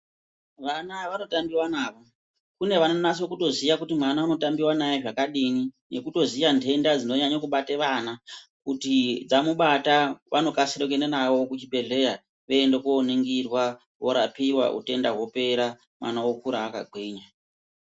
Vana vanotambiwa navo. Kune vanonasa kutoziya kuti mwana unotambiwa naye zvakadini nekutoziya nhenda dzinonyanye kubate vana kuti dzamubata vanokasire kuenda navo kuchibhehleya veienda koningirwa, vorapiwa kuti utenda hopera mwana okura akagwinya.